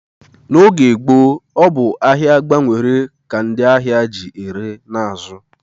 N'oge gboo, ọ bụ ahịa gbanwere ka ndị ahịa ji ere na azụ